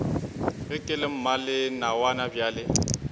ge ke le mmalenawana bjale